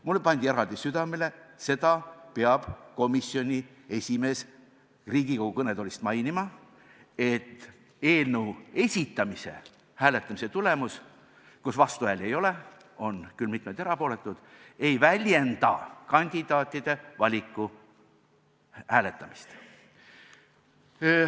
Mulle pandi eraldi südamele, et komisjoni esimees peab Riigikogu kõnetoolist mainima, et eelnõu esitamise hääletamise tulemus, mille korral vastuhääli ei ole – on küll mitmeid erapooletuid –, ei väljenda kandidaatide valiku hääletamist.